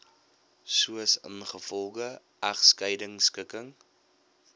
soos ingevolge egskeidingskikking